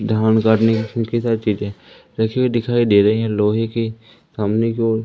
धान काटने काफी सारी चीजे रखी हुई दिखाई दे रही है। लोहे के सामने की ओर--